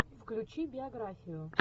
включи биографию